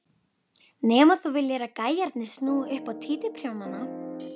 Nema þú viljir að gæjarnir snúi upp á títuprjónana!